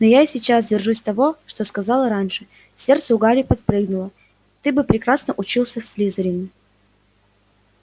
но я и сейчас держусь того что сказала раньше сердце у гарри подпрыгнуло ты бы прекрасно учился в слизерине